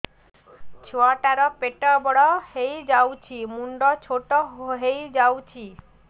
ଛୁଆ ଟା ର ପେଟ ବଡ ହେଇଯାଉଛି ମୁଣ୍ଡ ଛୋଟ ହେଇଯାଉଛି